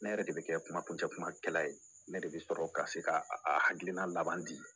Ne yɛrɛ de bɛ kɛ kumajɛkuumakɛla ye ne de bɛ sɔrɔ ka se ka akilina laban di